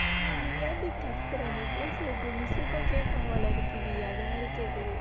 ஏய் நீ ஏன்டி கத்துற நீ பேசுறது miss க்கும் கேக்கும் போல இருக்குடி அது மாதிரி கேட்குது